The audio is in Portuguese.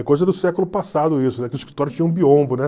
É coisa do século passado isso, né, que os escritórios tinham um biombo, né?